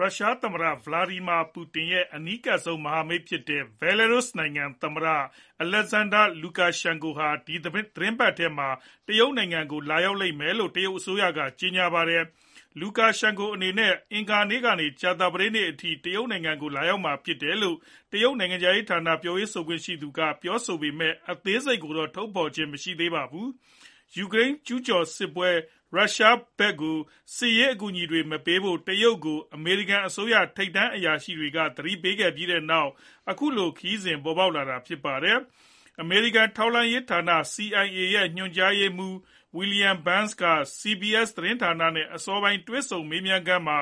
ရုရှား သမ္မတ Vladimir Putin ရဲ့ အနီးကပ်ဆုံးမဟာမိတ်ဖြစ်တဲ့ Belarus နိုင်ငံ သမ္မတ Alexander Lukashenko ဟာ ဒီသီတင်းပတ်ထဲမှာ တရုတ်နိုင်ငံကို လာရောက်လိမ့်မယ်လို့ တရုတ်အစိုးရက ကြေညာပါတယ်။ Lukashenko အနေနဲ့ အင်္ဂါနေ့ကနေ ကြာသပတေးနေ့အထိ တရုတ်နိုင်ငံကို လာရောက်မှာဖြစ်တယ်လို့ တရုတ်နိုင်ငံခြားရေးဝန်ကြီးဌာန ပြောရေးဆိုခွင့်ရှိသူက ပြောဆိုပေမယ့် အသေးစိတ်အစီအစဉ်တွေကိုတော့ ထုတ်ဖော်ခြင်းမရှိပါဘူး။ ယူကရိန်းစစ်ပွဲကျူးကျော်တဲ့ ရုရှားဘက်ကို စစ်ရေးအကူအညီတွေမပေးဖို့ တရုတ်ကို အမေရိကန်အစိုးရ ထိပ်တန်းအရာရှိတွေက သတိပေးပြီးနောက် အခုလို ခရီးစဉ်ပေါ်ပေါက်လာပါတယ်။ အမေရိကန်ထောက်လှမ်းရေးဌာန CIA ရဲ့ ညွှန်ကြားရေးမှူး William Burns က CBS သတင်းဌာနနဲ့ အစောပိုင်း တွေ့ဆုံမေးမြန်းခန်းမှာ